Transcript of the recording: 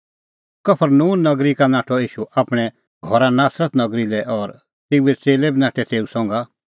कफरनहूम नगरी का नाठअ ईशू आपणैं घर नासरत नगरी लै और तेऊए च़ेल्लै बी नाठै तेऊ संघा